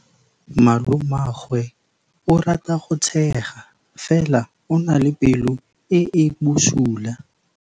Malomagwe o rata go tshega fela o na le pelo e e bosula.